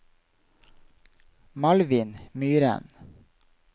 Malvin Myren